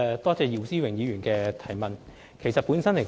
多謝姚思榮議員的補充質詢。